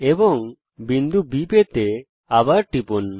এবং বিন্দু B পেতে আবার টিপুন